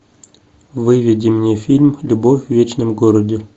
выведи мне фильм любовь в вечном городе